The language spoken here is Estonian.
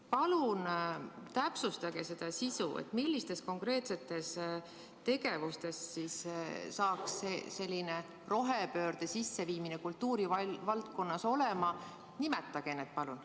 Palun täpsustage seda sisu, millistes konkreetsetes tegevustes siis selline rohepöörde sisseviimine kultuurivaldkonnas toimub, ja nimetage need tegevused!